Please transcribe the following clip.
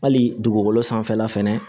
Hali dugukolo sanfɛla fɛnɛ